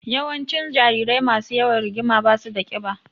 Yawancin jarirai masu yawan rigima ba su da ƙiba.